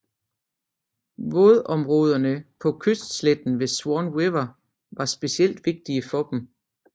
Vådområderne på kystsletten ved Swan River var specielt vigtige for dem